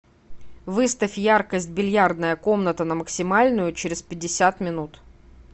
выставь яркость бильярдная комната на максимальную через пятьдесят минут